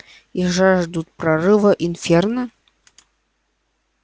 и жаждут прорыва инферно